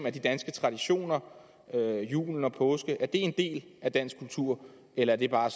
at de danske traditioner julen og påsken er en del af dansk kultur eller er det bare